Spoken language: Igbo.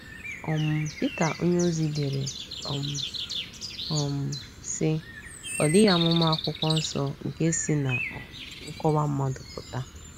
um Pita onyeozi dere, um, um sị: “ Ọ dịghị amụma akwụkwọ nsọ nke si ná um nkọwa mmadụ pụta. ”